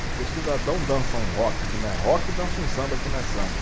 Porque o cidadão dança um rock que não é rock e dança um samba que não é samba.